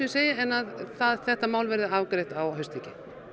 en að þetta verði á haustþingi